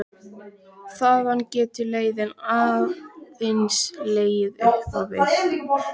Þaðan getur leiðin aðeins legið upp á við.